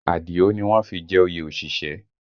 Àdìó ni wọ́n fi jẹ oyè òṣìṣẹ́